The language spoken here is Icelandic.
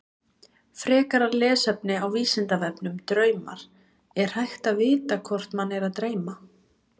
Frekara lesefni á Vísindavefnum Draumar Er hægt að vita hvort mann er að dreyma?